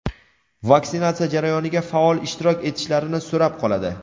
vaksinatsiya jarayoniga faol ishtirok etishlarini so‘rab qoladi.